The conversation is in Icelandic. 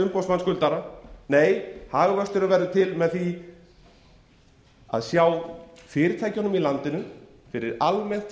umboðsmann skuldara nei hagvöxtur verður til með því að sjá fyrirtækjunum í landinu fyrir almennt